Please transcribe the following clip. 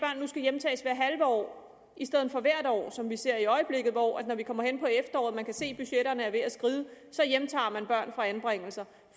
nu skal hjemtages hvert halve år i stedet for hvert år som vi ser i øjeblikket hvor man man kommer hen på efteråret og kan se at budgetterne er ved at skride så hjemtager børn fra anbringelser